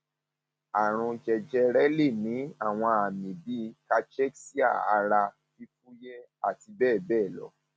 àrùn jẹjẹrẹ lè ní àwọn àmì bíi cachexia ara fífúyẹ àti bẹẹ bẹẹ lọ